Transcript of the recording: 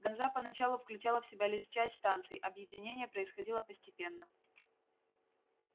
ганза поначалу включала в себя лишь часть станций объединение происходило постепенно